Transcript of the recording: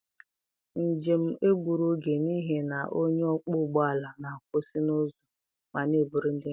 Njem m egburu oge n'ihi na onye ọkpọ ụgbọala na-akwụsị n'ụzọ ma na-eburu ndị njem.